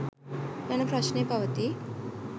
යන ප්‍රශ්නය පවතී